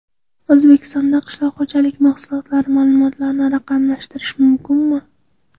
O‘zbekistonda qishloq xo‘jaligi mahsulotlari ma’lumotlarini raqamlashtirish mumkinmi?.